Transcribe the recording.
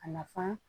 A nafan